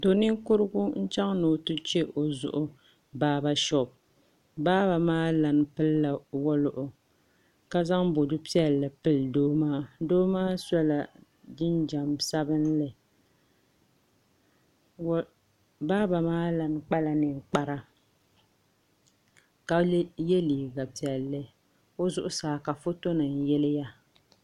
Do ninkurigu n chɛŋ ni o ti chɛ o zuɣu baaba shop baaba maa lan pilila woliɣika zaŋ bodu piɛlli pili doo maa doo maa sola jinjɛm sabinli baaba maa lan kpala ninkpara ka yɛ liiga piɛlli o zuɣusaa ka foto nim yiliya